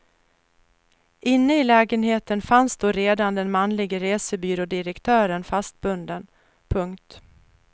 Inne i lägenheten fanns då redan den manlige resebyrådirektören fastbunden. punkt